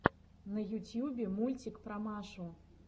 на ютьюбе мультик про машу